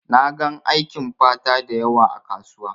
Na gan aikin fata dayawa ã kasuwa.